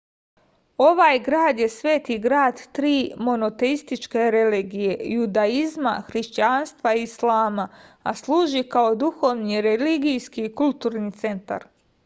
ovaj grad je sveti grad tri monoteističke religije judaizma hrišćanstva i islama a služi kao duhovni religijski i kulturni centar